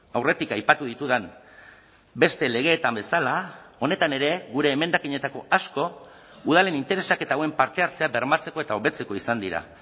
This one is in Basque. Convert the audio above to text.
aurretik aipatu ditudan beste legetan bezala honetan ere gure emendakinetako asko udalen interesak eta hauen parte hartzea bermatzeko eta hobetzeko izan dira